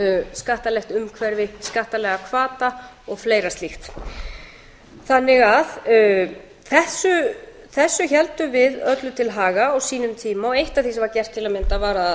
skattalegt umhverfi skattalega hvata og fleira slíkt þessu héldum við öllu til haga á sínum tíma og eitt af því sem var gert til að mynda var að